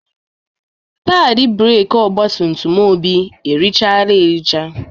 Padị breeki ọgbatumtum Obi erichaala ericha.